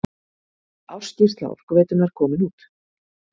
Ársskýrsla Orkuveitunnar komin út